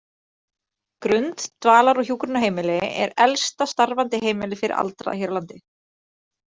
Grund, dvalar- og hjúkrunarheimili er elsta starfandi heimili fyrir aldraða hér á landi.